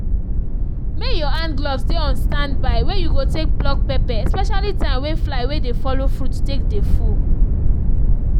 may your hand-gloves dey on stand by wey you go take pluck pepper especially time wey fly wey dey follow fruit take dey full